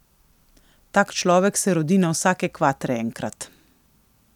Tak človek se rodi na vsake kvatre enkrat.